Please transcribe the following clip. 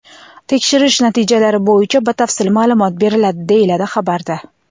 Tekshirish natijalari bo‘yicha batafsil ma’lumot beriladi”, deyiladi xabarda.